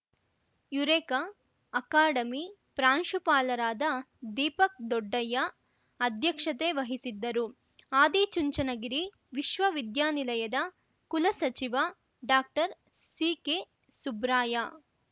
Eureka academy ಪ್ರಾಂಶುಪಾಲರಾದ ದೀಪಕ್‌ ದೊಡ್ಡಯ್ಯ ಅಧ್ಯಕ್ಷತೆ ವಹಿಸಿದ್ದರು ಆದಿಚುಂಚನಗಿರಿ ವಿಶ್ವವಿದ್ಯಾನಿಲಯದ ಕುಲಸಚಿವ ಡಾಕ್ಟರ್ ಸಿಕೆ ಸುಬ್ರಾಯ